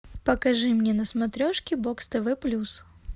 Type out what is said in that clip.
покажи мне на смотрешке бокс тв плюс